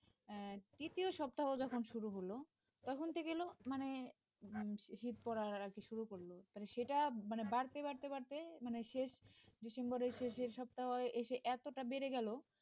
আহ তৃতীয় সপ্তাহ যখন শুরু হল তখন কি হলো মানে শীত পড়া আর কি শুরু করল তাহলে সেটা মানে বাড়তে বাড়তে বাড়তে মানে শেষ December র শেষ এর সপ্তাহে এসে এতটা বেড়ে গেল